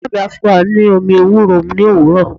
Iya mi a fun wa ni omi ewúro ni owuro.